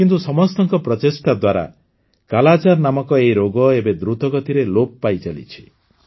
କିନ୍ତୁ ସମସ୍ତଙ୍କ ପ୍ରଚେଷ୍ଟା ଦ୍ୱାରା କାଲାଜାର ନାମକ ଏହି ରୋଗ ଏବେ ଦ୍ରୁତ ଗତିରେ ଲୋପ ପାଇଚାଲିଛି